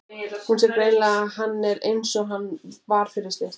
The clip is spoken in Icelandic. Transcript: Hún sér greinilega að hann er einsog hann var fyrir slysið.